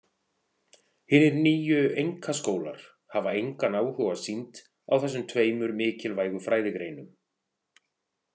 Hinir nýju „einkaskólar“ hafa engan áhuga sýnt á þessum tveimur mikilvægu fræðigreinum.